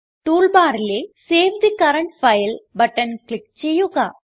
tool ബാറിലെ save the current file button click ചെയ്യുക